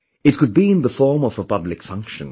It could be in the form of a public function